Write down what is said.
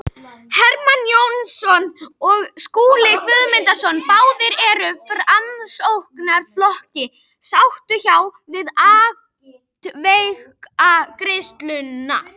Hermann Jónasson og Skúli Guðmundsson, báðir úr Framsóknarflokki, sátu hjá við atkvæðagreiðsluna.